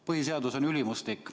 Põhiseadus on ülimuslik.